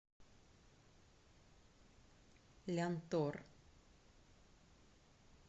лянтор